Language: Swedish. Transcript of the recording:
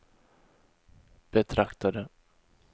betraktade